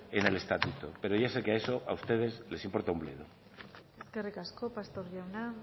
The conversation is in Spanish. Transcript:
en el estatuto pero ya sé que eso a ustedes les importa un bledo eskerrik asko pastor jauna